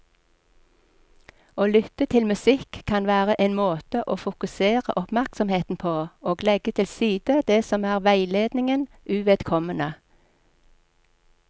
Å lytte til musikk kan være en måte å fokusere oppmerksomheten på og legge til side det som er veiledningen uvedkommende.